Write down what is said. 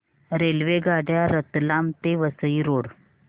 रेल्वेगाड्या रतलाम ते वसई रोड